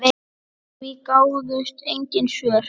Við því gáfust engin svör.